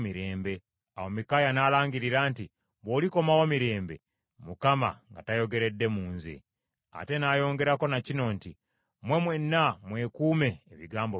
Awo Mikaaya n’alangirira nti, “Bw’olikomawo mirembe, Mukama nga tayogeredde mu nze,” ate n’ayongerako na kino nti, “Mmwe mwenna, mwekuume ebigambo byange.”